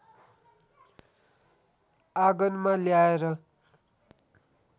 आगनमा ल्याएर